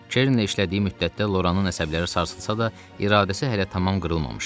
Çernlə işlədiyi müddətdə Loranın əsəbləri sarsılsa da, iradəsi hələ tamam qırılmamışdı.